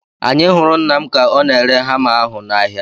Anyị hụrụ nna m ka ọ na-ere hama ahu n'ahịa